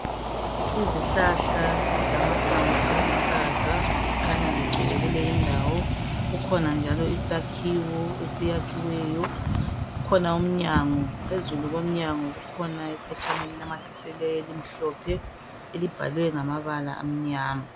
Izihlahla zilamahlamvu aluhlaza zikhanya zigcwele kuyilendawo kukhona njalo isakhiwo esiyakhiweyo kukhona umnyango phezulu komnyango kukhona iphetshana elinamathilisiweyo elimhlophe elibhalwe ngamabala amnyama.